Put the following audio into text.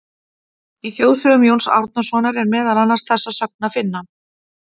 Í Þjóðsögum Jóns Árnasonar er meðal annars þessa sögn að finna: